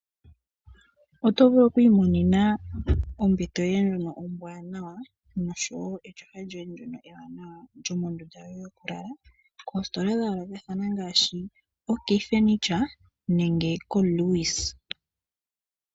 Oto vulu oku i monena ombete yoye ndjono ombwanawa noshowo etyofa lyoye ndyono ewanawa lyomondunda yoye yoku lala koositola dha yoolokathana ngaashi OK Furniture nenge ko Lewis.